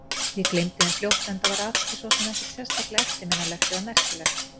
Ég gleymdi þeim fljótt, enda var atvikið svo sem ekkert sérstaklega eftirminnilegt eða merkilegt.